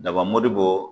Daba mɔdi bɔ